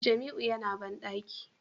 Jamiu yana bandaki